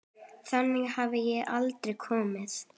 Þangað hafði ég aldrei komið.